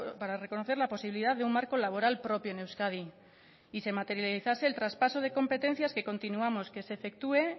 para reconocer la posibilidad de un marco laboral propio en euskadi y se materializase el traspaso de competencias que continuamos que se efectúe